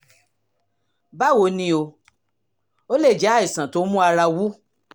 báwo ni o? ó lè jẹ́ àìsàn tó ń mú ara wú